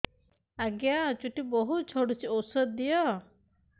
ଆଜ୍ଞା ଚୁଟି ବହୁତ୍ ଝଡୁଚି ଔଷଧ ଦିଅ